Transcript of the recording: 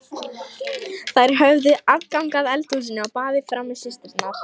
Þær höfðu aðgang að eldhúsinu og baðinu frammi, systurnar.